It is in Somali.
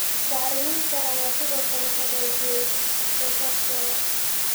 Bacriminta ayaa sidoo kale hagaajiyay wax-soosaarkeeda.